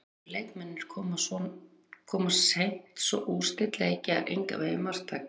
Erlendu leikmennirnir koma seint svo úrslit leikja er engan vegin marktæk.